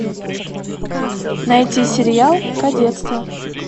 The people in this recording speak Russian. найти сериал кадетство